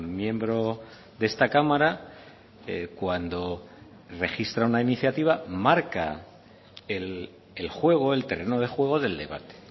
miembro de esta cámara cuando registra una iniciativa marca el juego el terreno de juego del debate